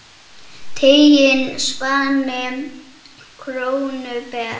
Tiginn svanni krónu ber.